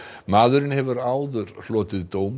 maðurinn hefur áður hlotið dóm